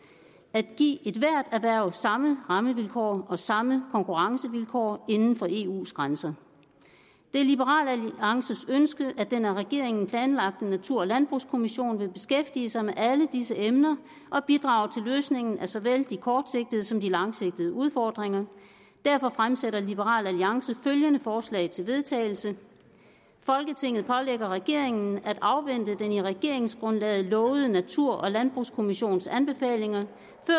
at give ethvert erhverv samme rammevilkår og samme konkurrencevilkår inden for eus grænser det er liberal alliances ønske at den af regeringen planlagte natur og landbrugskommission vil beskæftige sig med alle disse emner og bidrage til løsningen af såvel de kortsigtede som de langsigtede udfordringer derfor fremsætter liberal alliance følgende forslag til vedtagelse folketinget pålægger regeringen at afvente den i regeringsgrundlaget lovede natur og landbrugskommissions anbefalinger